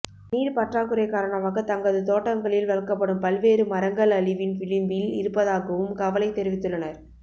நீர் பற்றாக்குறை காரணமாக தங்கது தோட்டங்களில் வளர்க்கப்படும் பல்வேறு மரங்கள் அழிவின் விளிம்பில் இருப்பதாகவும் கவலை தெரிவித்துள்ளனர்